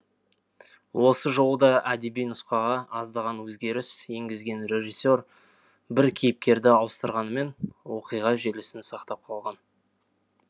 осы жолы да әдеби нұсқаға аздаған өзгеріс енгізген режиссер бір кейіпкерді ауыстырғанымен оқиға желісін сақтап қалған